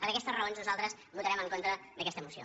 per aquestes raons nosaltres votarem en contra d’aquesta moció